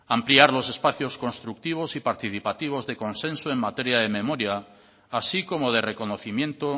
ampliar los espacios constructivos y participativos de consenso en materia de memoria así como de reconocimiento